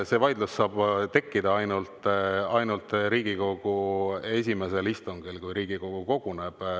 See vaidlus saab tekkida ainult Riigikogu esimesel istungil, kui Riigikogu koguneb.